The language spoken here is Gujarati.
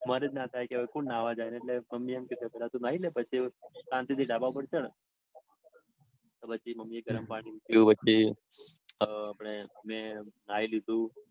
મન જ ના થાય કે નાવા થાત એટલે મમ્મી કે પેલા તું નાઈ લે. પછી શાંતિથી ધાબા પર ચઢ. તો પછી મમ્મીએ ગરમ પાણી મૂક્યું. વચ્ચે તો મેં નાઈ લીધું.